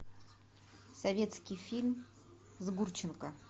советский фильм с гурченко